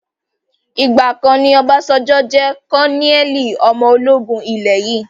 Ìgbàkan ni Obasanjo jẹ́ kọnẹ́ẹ́lì ọmọ ológun ilé yìí